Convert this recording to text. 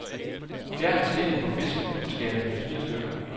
Fjern skindet på fisken og skær den i fire stykker.